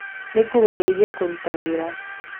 Nĩngũgũteithia kũruta wĩra.